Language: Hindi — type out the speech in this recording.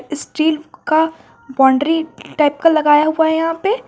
स्टील का बाउंड्री टाइप का लगाया हुआ है यहां पे।